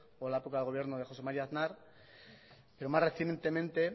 o la época de gobierno de josé maría aznar pero más recientemente